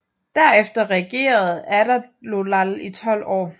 Derefter regerede Adaloald i tolv år